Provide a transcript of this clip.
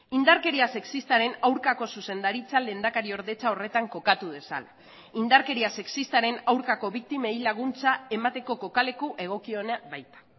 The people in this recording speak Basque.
indarkeria sexistaren aurkako zuzendaritza lehendakariordetza horretan kokatu dezala indarkeria sexistaren aurkako biktimei laguntza emateko kokaleku egokiona baita